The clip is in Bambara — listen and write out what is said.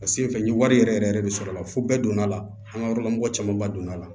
A sen fɛ n ye wari yɛrɛ yɛrɛ yɛrɛ de sɔrɔ a la fo bɛɛ donna la an ka yɔrɔ la mɔgɔ caman ba donn'a la